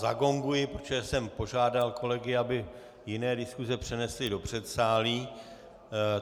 Zagonguji, protože jsem požádal kolegy, aby jiné diskuse přenesli do předsálí.